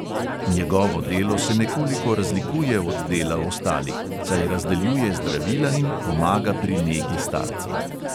Njegovo delo se nekoliko razlikuje od dela ostalih, saj razdeljuje zdravila in pomaga pri negi starcev.